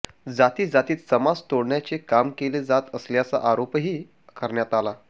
जातीजातीत समाज तोडण्याचे काम केले जात असल्याचा आरोपही करण्यात आला